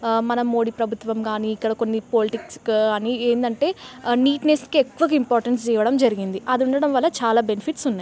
ఆ మన మోడీ ప్రభుత్వం గానీ ఇక్కడ కొన్ని పాలిటిక్స్ గానీ ఏందంటే ఆ నీట్నెస్ కి ఎక్కువ ఇంపార్టెన్స్ ఇవ్వడం జరిగింది. అది ఉండడం వల్ల చాలా బెనిఫిట్స్ ఉన్నాయి.